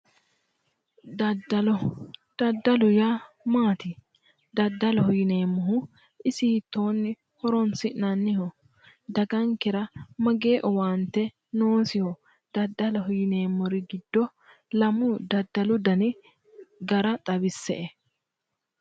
Daddallo, daddallo yaa maati, daddalloho yinneemmohu isi hiittoni horonsi'nanniho ,dagankera isi mageeshshi owaante noosiho, daddaloho yinneemmori giddo lamu daddallu danni gara xawise"e.